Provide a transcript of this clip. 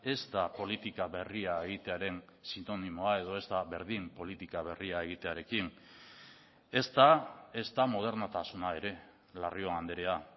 ez da politika berria egitearen sinonimoa edo ez da berdin politika berria egitearekin ez da ez da modernotasuna ere larrion andrea